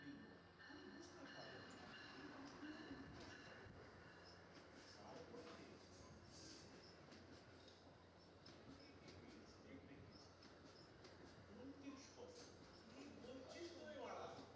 মারা